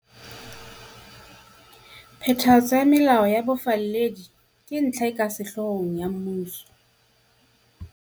Phethahatso ya melao ya bofalledi ke ntlha e ka sehloohong ya mmuso.